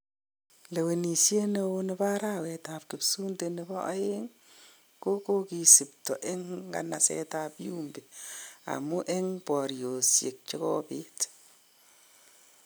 lewenisiet neoo nebo arawet ab Kipsunde nebo aeng ko kokisipto en nganaset ab Yumbi amun en boryosiek chekibit